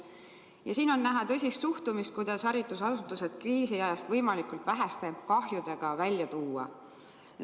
Ja siin on näha tõsist suhtumist, kuidas haridusasutused kriisiajast võimalikult väheste kahjudega välja tuua.